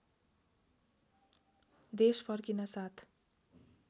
देश फर्किनासाथ